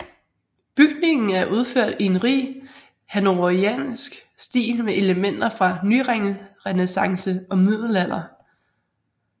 Bygningen er udført i en rig hannoveriansk stil med elementer fra nyrenæssance og middelalder